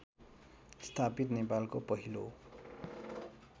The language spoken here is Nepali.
स्थापित नेपालको पहिलो